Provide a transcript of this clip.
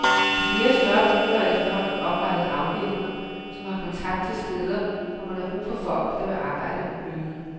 I flere større byer er der efterhånden oprettet afdelinger som har kontakt til steder, hvor man har brug for folk, der vil arbejde ulønnet.